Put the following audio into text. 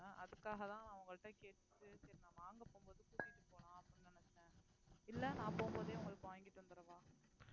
அதுக்காகதான் நான் உங்கள்ட்ட கேட்டுட்டு சரி நான் வாங்கப் போகும்போது கூட்டிட்டு போலாம் அப்படின்னு நினைச்சேன் இல்ல நான் போகும்போதே உங்களுக்கு வாங்கிட்டு வந்தருவா